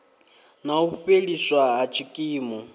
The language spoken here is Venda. na u fheliswa ha tshikimu